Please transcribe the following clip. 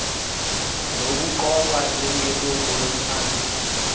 nokuqokwa njengelungu lomkhandlu